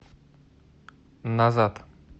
назад